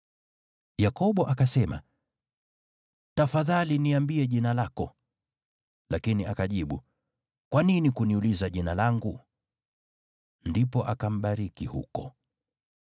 Yakobo akasema, “Tafadhali niambie jina lako.” Lakini akajibu, “Kwa nini kuniuliza Jina langu?” Ndipo akambariki huko.